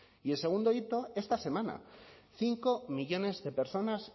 y el segundo hito esta semana cinco millónes de personas